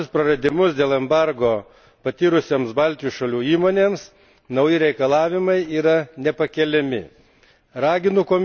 Tuo tarpu didžiausius praradimus dėl embargo patyrusioms Baltijos šalių įmonėms nauji reikalavimai yra nepakeliami.